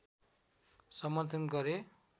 समर्थन गरे